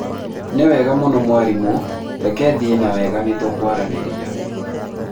nĩwega mũno mwarimũ reke thiĩ na wega nĩtũkwaranĩria